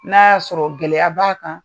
N'a y'a sɔrɔ gɛlɛya b'a kan